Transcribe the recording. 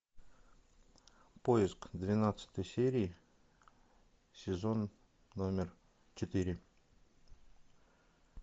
поиск двенадцатой серии сезон номер четыре